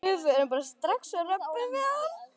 Við förum bara strax og röbbum við hann.